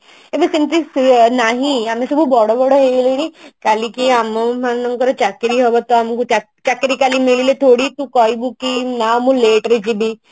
ଏବେ ସେମତି ନାହିଁ ଆମେ ସବୁ ବଡ ବଡ ହେଇଗଲୁଣି କାଲିକି ଆମ ମାନଙ୍କର ଚାକିରି ହବ ତ ଆମକୁ ଚାକିରି କାଲି ମିଳିଲେ ଥୋଡି ତୁ କହିବୁ କି ନା ମୁଁ late ରେ ଯିବି